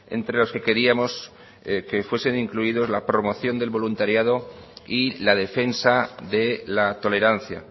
entre los que queríamos que fuesen incluidos la promoción del voluntariado y la defensa de la tolerancia